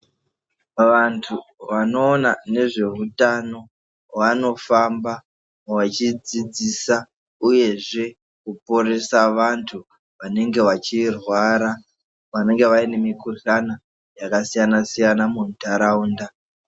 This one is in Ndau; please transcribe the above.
Pavantu vanoona nezveutano, wanofamba wachidzidzisa uyezve kuporesa vantu vanenge vachirwara, vanenge vane mikuhlana yakasiyana-siyana mundaraunda.